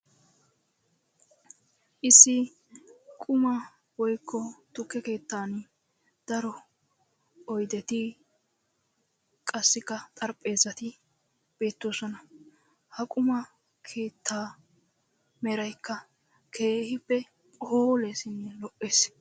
issi quma woykko tukke keettan daro oyddeti qassikka xarpheezzati beetoosona. ha qumma keettaa meraykka keehippe phooleesinne lo'ees.